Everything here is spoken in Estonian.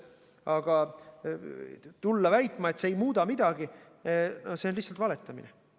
Aga tulla väitma, et see ei muuda midagi, no see on lihtsalt valetamine.